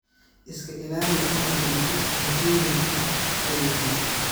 Iska ilaali inaad cuntid cuntooyinka qudhuntay.